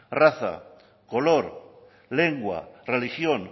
raza color lengua religión